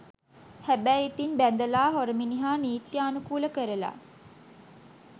හැබැයි ඉතින් බැඳලා හොර මිනිහා නිත්‍යානුකූල කරලා